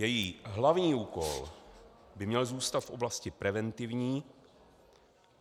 Její hlavní úkol by měl zůstat v oblasti preventivní.